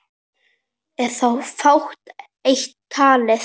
Er þá fátt eitt talið.